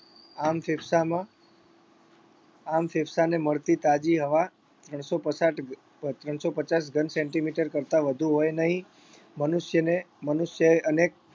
આમ ફેફસામાં આમ ફેફસાને મળતી તાજી હવા ત્રણસો પસાટ ત્રણસો પચાસ ઘન સેન્ટીમીટર કરતા વધુ હોય નહીં મનુષ્યને મનુષ્ય અને